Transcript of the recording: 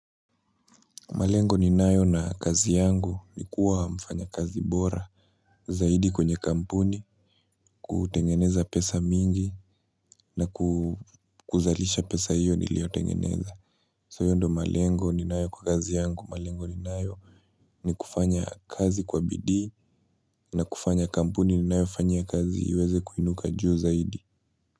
Malengo ni nayo na kazi yangu ni kuwa mfanya kazi bora zaidi kwenye kampuni, kutengeneza pesa mingi na kuzalisha pesa hiyo niliotengeneza. So hiyo ndio malengo ni nayo kwa kazi yangu malengo ni nayo ni kufanya kazi kwa bidii na kufanya kampuni ninayo fanyaia kazi iweze kuinuka juu zaidi.